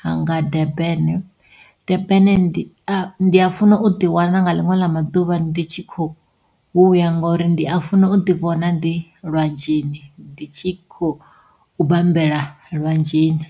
ha nga Durban. Durban ndi a funa u ḓi wana nga liṅwe ḽa maḓuvha ndi tshi kho ya ngori ndi a funa u ḓi vhona ndi lwanzheni ndi tshi khou bambela lwanzheni.